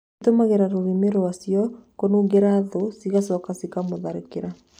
Cihũthagĩra rurĩmi rwacio kūmūnungīra thũũ cigĩgacoka kũmũtharĩkĩra.